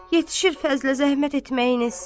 Yetişir Fəzli-yə zəhmət etməyiniz.